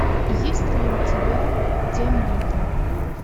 есть ли у тебя тем летом